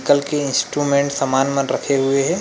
कल के इंस्ट्रूमेंट समान मन रखे हुए हे।